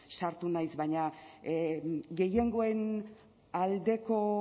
sartu nahi baina gehiengoaren aldeko